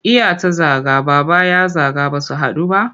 Iya ta zaga, Baba ya zaga ba su haɗu ba?